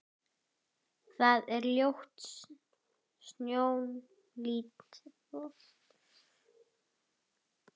Það er ljót sjón lítil.